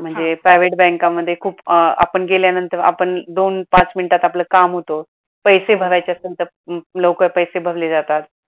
म्हणजे private बँकामध्ये खूप आपण गेल्यानंतर आपण दोन पाच मिनटात आपलं काम होतं, पैसे भरायचे असेल तर लवकर पैसे भरले जातात